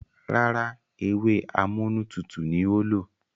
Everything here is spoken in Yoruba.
Rárá, ewé amúnútutù ni ó lò.